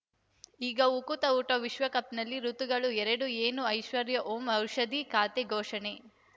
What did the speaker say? ಈಗ ಉಕುತ ಊಟ ವಿಶ್ವಕಪ್‌ನಲ್ಲಿ ಋತುಗಳು ಎರಡು ಏನು ಐಶ್ವರ್ಯಾ ಓಂ ಔಷಧಿ ಖಾತೆ ಘೋಷಣೆ